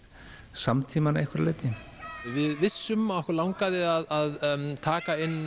samtímann að einhverju leyti við vissum að okkur langaði að taka inn